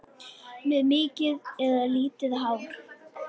Með mikið eða lítið hár?